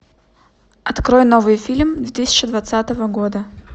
открой новый фильм две тысячи двадцатого года